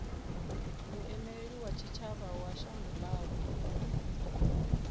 muimeli wa tshitshavha wa shango ḽavho